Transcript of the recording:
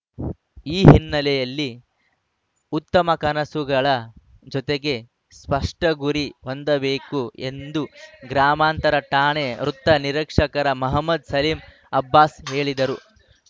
ಈ ಹಿನ್ನೆಲೆಯಲ್ಲಿ ಉತ್ತಮ ಕನಸುಗಳ ಜೊತೆಗೆ ಸ್ಪಷ್ಟಗುರಿ ಹೊಂದಬೇಕು ಎಂದು ಗ್ರಾಮಾಂತರ ಠಾಣೆ ವೃತ್ತ ನಿರೀಕ್ಷಕ ಮಹಮದ್‌ ಸಲೀಂ ಅಬ್ಬಾಸ್‌ ಹೇಳಿದರು